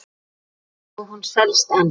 Og hún selst enn.